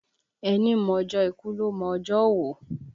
Ẹni mọ ọjọ́ ikú ló mọ ọjọ́ òwò